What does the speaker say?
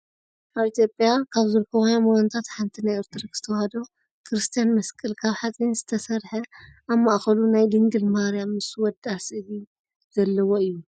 ኣብ ኢትዮጵያ ካብ ዝርከቡ ሃይማኖታት ሓንቲ ናይ ኦርቶዶክስ ተዋህዶ ክርስትያን መስቀል ካብ ሓፂን ዝተሰረሓ ኣብ ማእከሉ ናይ ድንግል ማርያም ምስ ወዳ ስእሊ ዘለዎ እዩ።